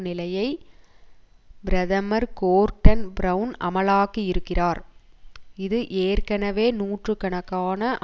நிலையை பிரதமர் Gordon Brown அமலாக்கியிருக்கிறார் இது ஏற்கனவே நூற்று கணக்கான